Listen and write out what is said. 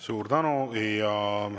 Suur tänu!